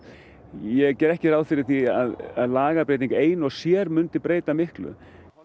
ég geri ekki ráð fyrir því að lagabreyting ein og sér mundi breyta miklu